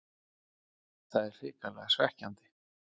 Það er hrikalega svekkjandi.